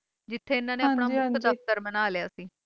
ਜਿੱਥੇ ਇਨ੍ਹਾਂ ਨੇ ਆਪਣਾ ਮੁੱਖ ਦਫਤਰ ਬਣਾ ਲਿਆ ਸੀ